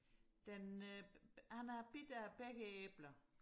den øh han har bidt af begge æbler